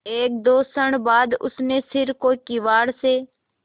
एकदो क्षण बाद उसने सिर को किवाड़ से